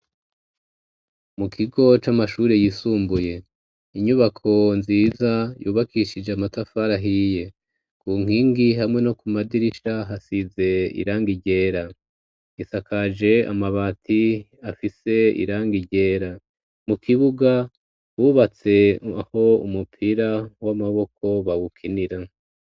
Mu kigo c'amashuri yisumbuye. Inyubako nziza yubakishije amatafari ahiye ku nkingi hamwe no ku madirisha hasize irangi ryera. Isakaje amabati afise irangi ryera. Mu kibuga bubatse aho umupira w'amaboko bawukinira.